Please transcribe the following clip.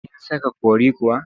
Kin saka curry kuwa?